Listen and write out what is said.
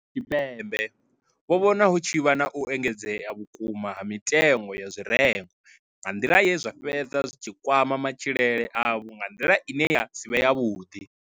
Tshipembe vho vhona hu tshi vha na u engedzea vhukuma ha mitengo ya zwirengwa nga nḓila ye zwa fhedza zwi tshi kwama matshilele avho nga nḓila ine ya si vhe yavhuḓi.